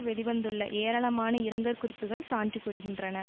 வெளி வந்துள்ள ஏராளமான இரங்கற்குறிப்புக்கள் சான்று கூறுகின்றன